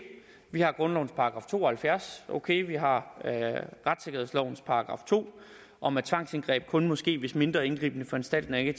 vi har grundlovens § to og halvfjerds okay vi har retssikkerhedslovens § to om at tvangsindgreb kun må ske hvis mindre indgribende foranstaltninger ikke